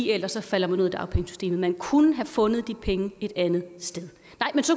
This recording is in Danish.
ellers falder man ud af dagpengesystemet man kunne have fundet de penge et andet sted